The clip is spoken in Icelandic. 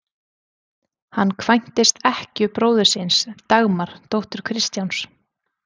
Hann kvæntist ekkju bróður síns, Dagmar, dóttur Kristjáns